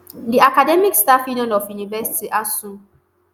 di academic staff union of universities asuu